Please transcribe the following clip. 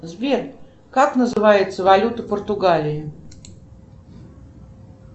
сбер как называется валюта португалии